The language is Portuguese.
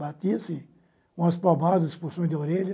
Batia-se com as palmas, os puxões de orelha.